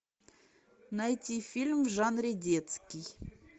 найти фильм в жанре детский